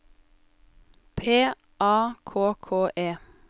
P A K K E